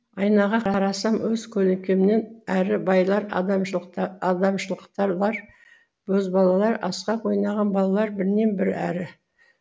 айнаға қарасам өз көлеңкемнен әрі байлар адамшылықталар бозбалалар асық ойнаған балалар бірінен бірі әрі